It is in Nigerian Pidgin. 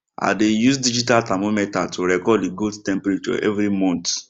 i dey use digital thermometer to record the goats temperature every month